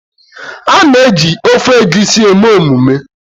A na-eji ofe Egusi eme emume